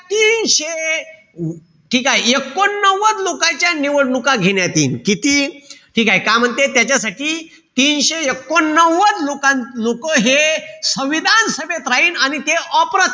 तीनशे ठीकेय? एकोणनव्वद लोकांच्या निवडणुका घेण्यात यील. किती? ठीकेय? का म्हणते? तीनशे एकोणनव्वद लोका लोकं हे संविधान सभेत राहीन आणि ते अप्रत्यक्ष